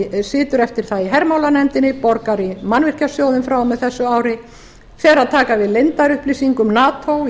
ísland situr eftir það í hermálanefndinni borgar í mannvirkjasjóðinn frá og með þessu ári fer að taka við leyndarupplýsingum nato í